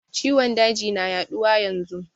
Ciwon daji na yaduwa yanzun.